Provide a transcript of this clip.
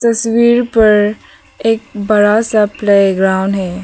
तस्वीर पर एक बड़ा सा प्लेग्राउंड है।